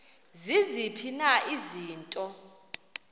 ziziphi na izinto